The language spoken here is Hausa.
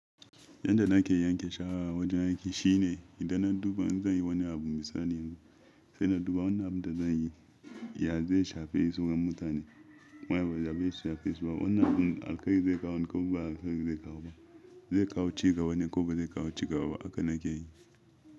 Yanda nake yanke shawara wajen aiki shine idan na duba in zan yi wani abu misali yanzu, sai na duba wannan abun da zan yi ya zai shafe izinin mutane? Wai ba za ba shi shafe su ba. Wannan abun alkairi zai kawo ne ko ba alkai zai kawo ba? Zai kawo cigaba ne ko ba zai kawo cigaba ba haka nake yi.